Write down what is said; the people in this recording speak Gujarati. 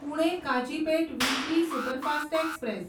Pune Kazipet weekly superfast express